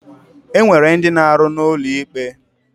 E nwere ndi na-aru n'ulo ikpe.